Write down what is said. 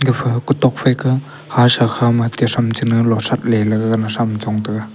epha ku tok phai ka hasha kha ma tesham china losaple laga na sham Chong taiga.